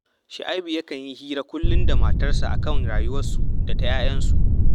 Shu’aibu yakan yi hira kullum da matarsa a kan rayuwarsu da ta ‘ya’yansu